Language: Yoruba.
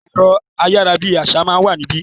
ẹ̀rọ ayára bi àṣá má n wà níbí.